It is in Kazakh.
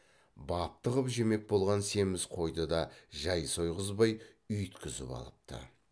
бапты қып жемек болған семіз қойды да жай сойғызбай үйіткізіп алыпты